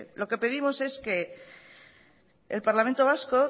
lo que pedimos es que el parlamento vasco